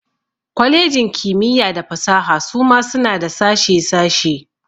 Kwalejin kimiyya da fasaha suma suna da sashe sashe.